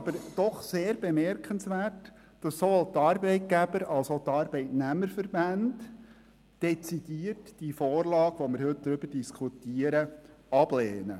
Es ist sehr bemerkenswert, dass sowohl die Arbeitgeber- als auch die Arbeitnehmerverbände dezidiert die heute diskutierte Vorlage ablehnen.